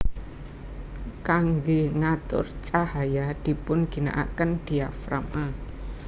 Kangge ngatur cahaya dipun ginakaken diafragma